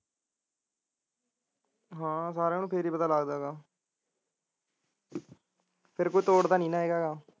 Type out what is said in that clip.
ਹਾਂ ਸਾਰਿਆਂ ਨੂੰ ਫਿਰ ਹੀ ਪਤਾ ਲੱਗਦਾ ਗਾ ਫਿਰ ਕੋਈ ਤੋੜਦਾ ਨੀ ਗਾ